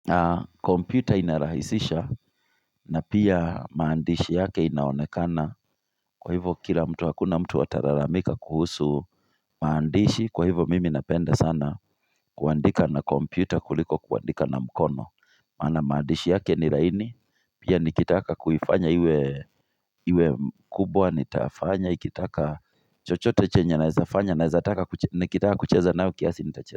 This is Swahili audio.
Na kompyuta inarahisisha na pia maandishi yake inaonekana kwa hivyo kila mtu hakuna mtu atalalamika kuhusu maandishi kwa hivyo mimi napenda sana kuandika na kompyuta kuliko kuandika na mkono. Maana maandishi yake ni laini pia nikitaka kuifanya iwe kubwa nitafanya ikitaka chochote chenye naeza fanya naezataka nikitaka kucheza nayo kiasi nitacheza.